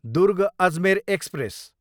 Durg, Ajmer express